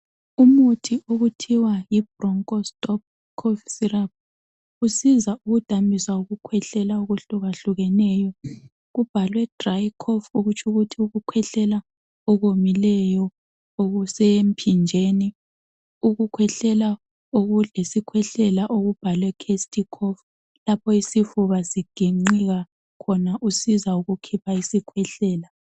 Umuthi okuthiwa yibroncho stop cough syrup usiza ukudambisa ukukhwehlela okwehlukahlukeneyo kubhalwe dry cough ukutsho ukuthi ukukhwehlela okomileyo okusemphinjeni. Ukukhwehlela okuyisikhwehlela okubhalwe chesty cough lapho isifuba siginqika khona usiza ukukhipha isikhwehlela.